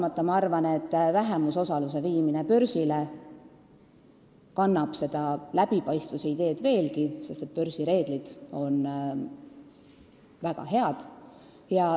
Aga ma arvan, et vähemusosaluse viimine börsile suurendab seda läbipaistvust veelgi, sest börsi reeglid on väga head.